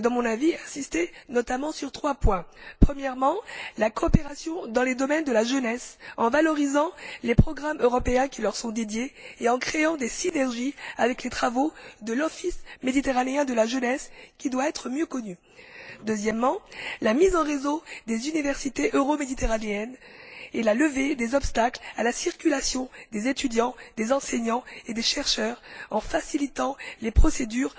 dans mon avis, insister notamment sur trois points. Premièrement, la coopération dans les domaines de la jeunesse, en valorisant les programmes européens qui leur sont consacrés et en créant des synergies avec les travaux de l'Office méditerranéen de la jeunesse, qui doit être mieux connu. Deuxièmement, la mise en réseau des universités euro méditerranéennes et la levée des obstacles à la circulation des étudiants, des enseignants et des chercheurs, en facilitant les procédures